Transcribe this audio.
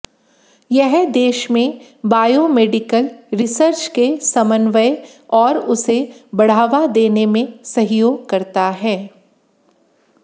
यह देश में बायोमेडिकल रिसर्च के समन्वय और उसे बढ़ावा देने में सहयोग करता है